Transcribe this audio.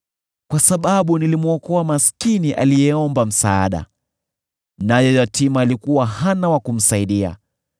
kwa sababu nilimwokoa maskini aliyeomba msaada, naye yatima aliyekuwa hana wa kumsaidia.